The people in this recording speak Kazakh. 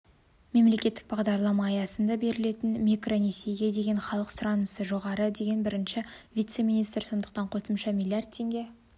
мемлекеттік бағдарлама аясында берілетін микронесиеге деген халық сұранысы жоғары деді бірінші вице-министр сондықтан қосымша млрд теңге